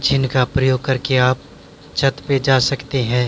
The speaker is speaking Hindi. जिनका प्रयोग करके आप छत पे जा सकते हैं।